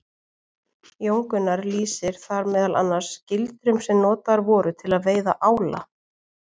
Jón Gunnar lýsir þar meðal annars gildrum sem notaðar voru til að veiða ála.